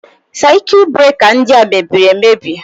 Sekit breka ndị a mebiri emebi.